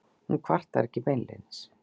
Hún kvartar ekki beinlínis.